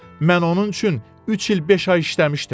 Mən onun üçün üç il beş ay işləmişdim.